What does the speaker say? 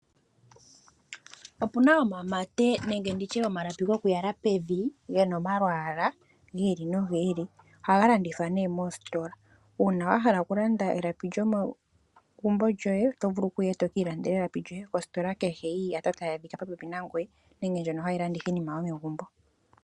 Opuna omamate nenge nditye omalapi goku yala pevi gena omalwaala gi ili nogi ili. Ohaga landithwa nee moositola, uuna wahala oku landa elapi lyomegumbo lyoye oto vulu okuya eto kiilandela elapi lyoye kositola kehe yiiyata tayi adhika po pepi nangoye nenge ndjono hayi landitha iinima yomegumbo.